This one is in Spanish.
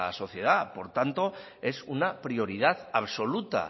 sociedad por tanto es una prioridad absoluta